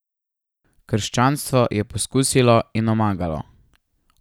Krščanstvo je poskusilo in omagalo.